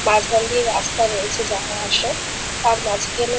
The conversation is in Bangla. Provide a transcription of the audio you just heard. মাঝখান দিয়ে রাস্তা রয়েছে যাওয়া আসার আর মাঝখানে --